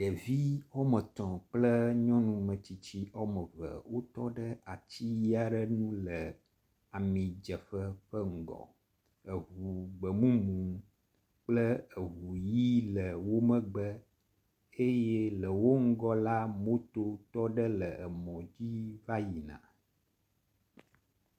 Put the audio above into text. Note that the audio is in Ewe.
Ɖevi wome etɔ̃ kple nyɔnu metsitsi wome eve wotɔ ɖe ati aɖe ŋu le amidzeƒe ƒe ŋgɔ. Eŋu gbemumu kple eŋu ʋi le wo megbe eye le wo ŋgɔ la, mototɔ ɖe le emɔ dzi va yina.